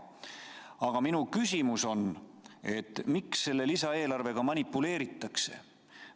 Aga minu küsimus on, et miks selle lisaeelarvega manipuleeritakse.